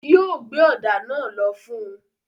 Yóò gbé ọ̀dà náà lọ fún un.